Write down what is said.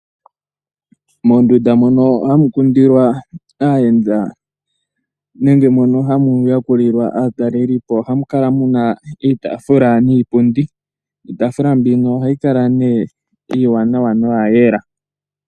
Mondunda moka ha mukindilwa aayenda nenge moka ha muyakulilwa aatalelipo ohamukala muna iitaafula niipundi, iitaafula mbyono oha yikala nee yayela.